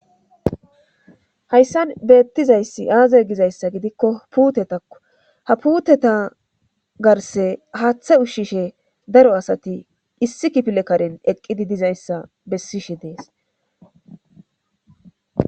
Hayssan beettizayssi aaza gizayssa gidikko puutetakko ha puuteta garse haaththe ushshishe daro asati issi kipile karen eqqidi dizayssa bessishe dees